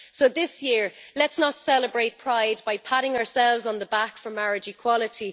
So this year, let's not celebrate Pride by patting ourselves on the back for marriage equality.